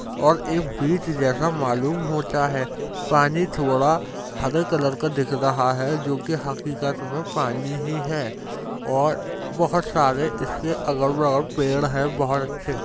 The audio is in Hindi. और एक ब्रिज जैसा मालूम होता है| पानी थोड़ा हरे कलर का दिख रहा है जोकि हकीकत में पानी ही है और बहोत सारे इसके अलग अलग पेड़ हैं| बहोत अच्छे --